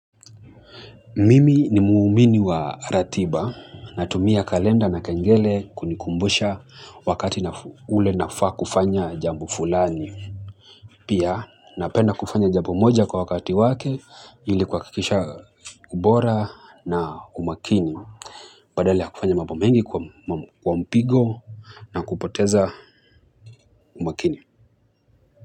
Mimi nimuumini wa ratiba. Natumia kalenda na kengele kunikumbusha wakati ule nafaa kufanya jambo fulani. Pia, napenda kufanya jambo moja kwa wakati wake, ili kuwa kikisha ubora na umakini. Badala ya kufanya mambo mengi kwa mpigo na kupoteza umakini.